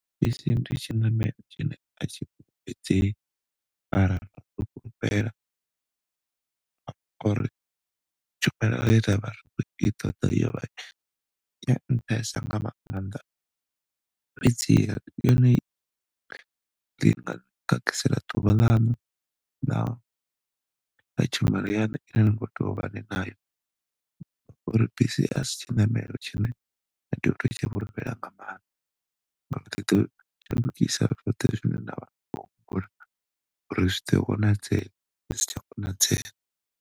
Bisi ndi tshiṋamelo tshine atshi fulufhedzei mara tshumelo ye ravha ri kho i ṱoḓa yovha ya nṱhesa nga maanḓa fhedziha ḓuvha ḽaṋu na tshumelo yaṋu ine na kho tea uvha ni nayo uri bisi asi tshiṋamelo tshine na to tea utshi fhulefhela nga maanḓa uri zwiḓo konadzea zwi si tsha konadzea.